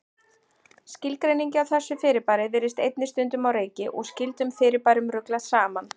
Skilgreiningin á þessu fyrirbæri virðist einnig stundum á reiki og skyldum fyrirbærum ruglað saman.